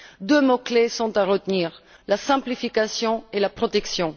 Deux mots clés sont à retenir la simplification et la protection.